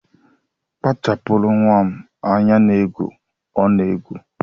Kpachapụrụ nnwa m anya n'egwu ọ na-egwu